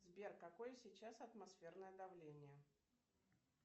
сбер какое сейчас атмосферное давление